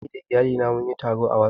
Ni da iyalina mun yi taro ta WhatsApp